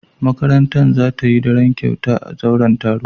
Makarantar za ta yi daren kyauta a zauren taro.